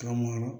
Ka mɔrɔ